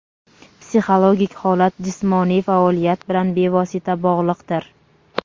Psixologik holat jismoniy faoliyat bilan bevosita bog‘liqdir.